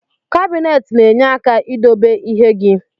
Kabinet na enye aka idobe ihe gi.